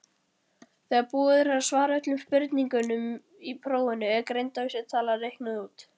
Þegar búið er að svara öllum spurningum í prófinu er greindarvísitala reiknuð út.